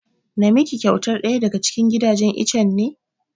Na miki kyautar ɗaya daga cikin gidajen itchen ne?